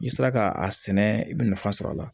I sera ka a sɛnɛ i bɛ nafa sɔrɔ a la